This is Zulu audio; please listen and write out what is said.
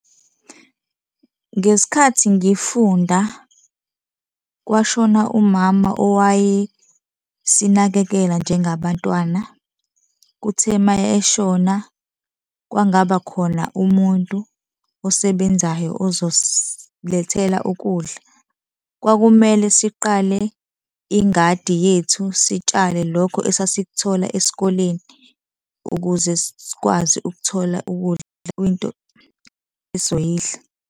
Ngesikhathi ngifunda, kwashona umama owayesinakekela njengabantwana. Kuthe ma-eshona kwangabakhona umuntu osebenzayo ozosilethela ukudla. Kwakumele siqale ingadi yethu sitshale lokhu esasikuthola esikoleni ukuze sikwazi ukuthola ukudla, okuyinto esoyidla.